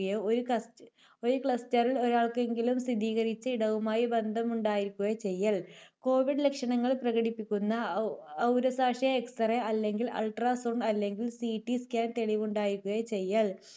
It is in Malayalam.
ഒരു cluster ൽ ഒരാൾക്കെങ്കിലും സ്ഥിരീകരിച്ച ഇടവുമായി ബന്ധമുണ്ടായിരിക്കുകയോ ചെയ്യൽ. കോവിഡ് ലക്ഷണങ്ങൾ പ്രകടിപ്പിക്കുന്ന ഔ, ഔ ഒരു പക്ഷേ X-ray അല്ലെങ്കിൽ ultrasound അല്ലെങ്കിൽ CT Scan തെളിവുണ്ടായിരിക്കുകയോ ചെയ്യൽ.